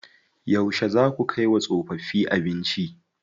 Yauce zaa ku kai wa tsofaffi abinci?